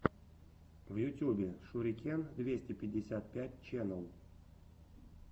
в ютьюбе шурикен двести пятьдесят пять ченел